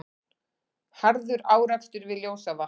Harður árekstur við Ljósavatn